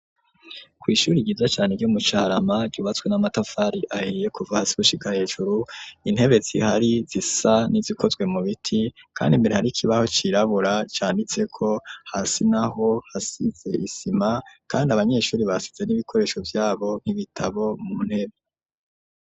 Kw'ishuri ryiza cane ryo mu Carama ryubatswe n'amatafari ahiye kuva hasi gushiga hejuru intebe zihari zisa n'izikozwe mu biti kandi imbere hari ikibaho cirabura canditse ko hasi naho hasize isima kandi abanyeshuri basize n'ibikoresho vyabo nk'ibitabo mu ntebe.